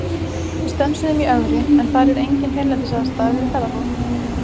Við stönsuðum í Ögri, en þar er engin hreinlætisaðstaða fyrir ferðafólk.